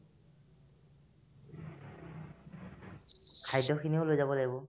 খাদ্যখিনিও লৈ যাব লাগিব